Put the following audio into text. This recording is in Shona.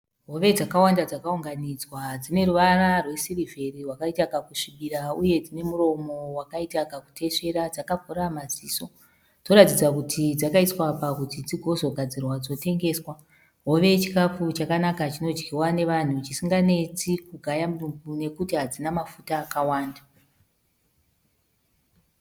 Hove dzakawanda dzakaunganidzwa dzine ruvara rwe sirivheri hwakaita kakusvibira uye dzine muromo wakaita kakutesvera dzakavhura maziso. Dzoratidza kuti dzakaiswa apa kuti dzigozogadzirwa dzotengeswa. Hove chikafu chakanaka chinodyiwa nevanhu chisinga netsi kugaya mudumbu nekuti hadzina mafuta akawanda.